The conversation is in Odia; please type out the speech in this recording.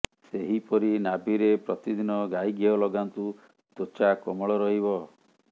ସେହିପରି ନାଭିରେ ପ୍ରତିଦିନ ଗାଈ ଘିଅ ଲଗାନ୍ତୁ ତ୍ୱଚା କୋମଳ ରହିବ